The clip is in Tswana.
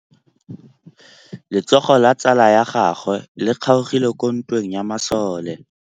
Letsôgô la tsala ya gagwe le kgaogile kwa ntweng ya masole.